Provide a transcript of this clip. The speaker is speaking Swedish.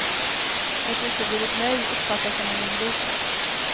Ett uteblivet nej uppfattas som en invit.